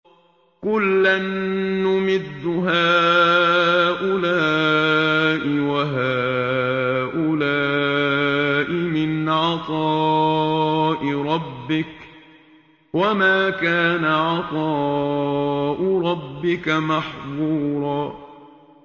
كُلًّا نُّمِدُّ هَٰؤُلَاءِ وَهَٰؤُلَاءِ مِنْ عَطَاءِ رَبِّكَ ۚ وَمَا كَانَ عَطَاءُ رَبِّكَ مَحْظُورًا